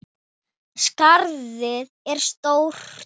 Skarðið er stórt.